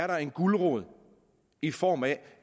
der er en gulerod i form af